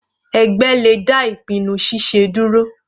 Ẹgbẹ́ le dá ìpinnu ṣiṣe dúró.